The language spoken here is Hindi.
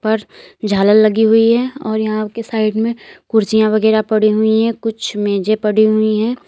ऊपर झालर लगी हुई है और यहां के साइड में कुर्सियां वगैरह पड़ी हुई है कुछ मेजे पड़ी हुई है।